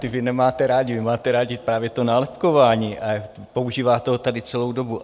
Ta vy nemáte rádi, vy máte rádi právě to nálepkování a používáte ho tady celou dobu.